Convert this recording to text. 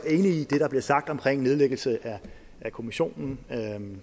i det der blev sagt omkring nedlæggelse af kommissionen